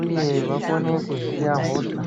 uye vakone kuziya hosha.